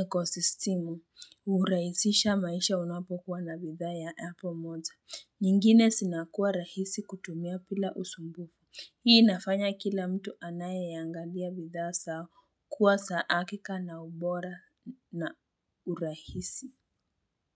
ecosystem uraisisha maisha unapokuwa na bidhaa ya Apple moja. Nyingine sinakuwa rahisi kutumia pila usumbuku. Hii inafanya kila mtu anayeiangalia bidhaa zao kuwa za hakika na ubora na urahisi.